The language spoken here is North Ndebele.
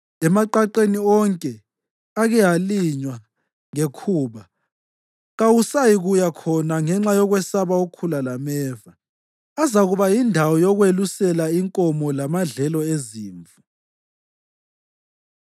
Emaqaqeni wonke ake alinywa ngekhuba kawusayikuya khona ngenxa yokwesaba ukhula lameva, azakuba yindawo yokwelusela inkomo lamadlelo ezimvu.